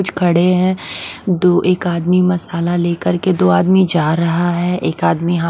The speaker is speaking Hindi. कुछ खड़े है दो एक आदमी मसाला ले कर के दो आदमी जा रहा है एक आदमी हा--